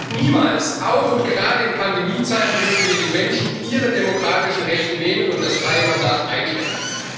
Und niemals auch und gerade in Pandemiezeiten dürfen wir den Menschen ihre demokratischen Rechte nehmen und das freie Mandat einschränken.